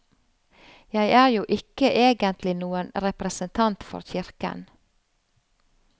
Jeg er jo ikke egentlig noen representant for kirken.